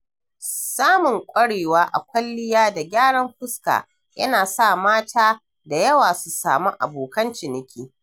Samun ƙwarewa a kwalliya da gyaran fuska yana sa mata da yawa su samu abokan ciniki.